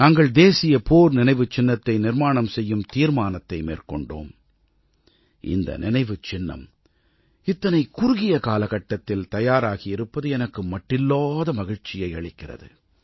நாங்கள் தேசிய போர் நினைவுச் சின்னத்தை நிர்மாணம் செய்யும் தீர்மானத்தை மேற்கொண்டோம் இந்த நினைவுச் சின்னம் இத்தனை குறுகிய காலகட்டத்தில் தயாராகியிருப்பது எனக்கு மட்டில்லாத மகிழ்ச்சியை அளிக்கிறது